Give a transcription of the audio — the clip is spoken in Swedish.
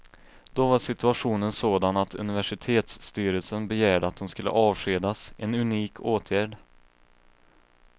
Då var situationen sådan att universitetsstyrelsen begärde att hon skulle avskedas, en unik åtgärd.